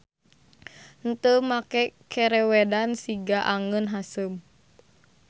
Henteu make kerewedan siga angeun haseum.